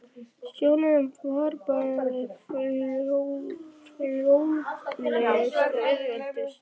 Sjóleiðin var bæði fljótlegust og auðveldust.